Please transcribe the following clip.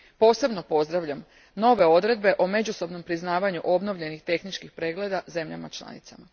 Posebno pozdravljam nove odredbe o međusobnom priznavanju obnovljenih tehničkih pregleda u državama članicama.